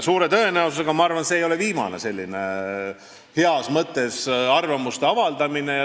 Suure tõenäosusega, ma arvan, ei ole see viimane heas mõttes arvamuste avaldamine.